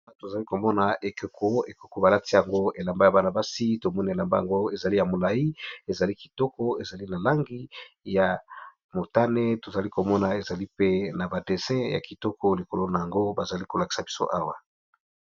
Awa tozali komona ekeko balati yango elamba ya bana basi tomonielamba yango ezali ya molai ezali kitoko ezali na langi ya motane tozali komona ezali pe na ba desin ya kitoko likolo na yango bazali kolakisa biso awa.